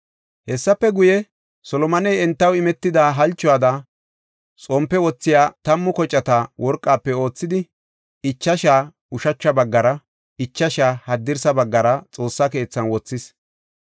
Hessafe guye, Solomoney entaw imetida halchuwada xompe wothiya tammu kocata worqafe oothidi, ichashaa ushacha baggara, ichashaa haddirsa baggara Xoossa keethan wothis.